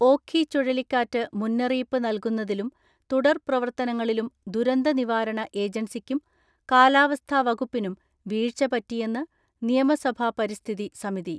ഓഖി ചുഴലിക്കാറ്റ് മുന്നറിയിപ്പ് നൽകുന്നതിലും തുടർ പ്രവർത്തനങ്ങളിലും ദുരന്ത നിവാരണ ഏജൻസിക്കും കാലാവസ്ഥാ വകുപ്പിനും വീഴ്ച പറ്റിയെന്ന് നിയമസഭാ പരിസ്ഥിതി സമിതി.